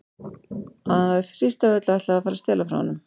Að hann hafi síst af öllu ætlað að fara að stela frá honum.